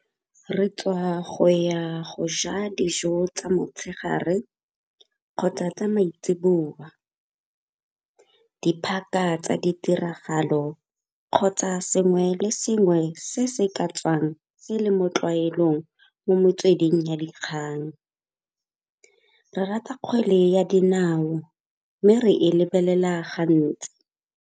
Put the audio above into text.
Re tswa go ya go ja dijo tsa motshegare kgotsa tsa maitseboa. Di tsa ditiragalo kgotsa sengwe le tsona sengwe se se ka tswang se le mo ditlwaelong mo metsweding ya dikgang. Re rata kgwele ya dinao mme re e lebelela gantsi.